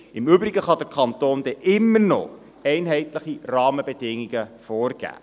Im Übrigen kann der Kanton immer noch einheitliche Rahmenbedingungen vorgeben.